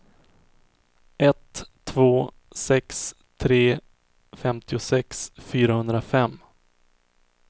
ett två sex tre femtiosex fyrahundrafem